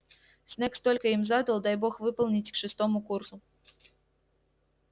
снегг столько им задал дай бог выполнить к шестому курсу